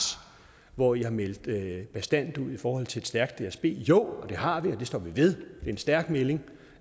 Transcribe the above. hvor i har meldt bastant ud i forhold til et stærkt dsb jo det har vi og det står vi ved en stærk melding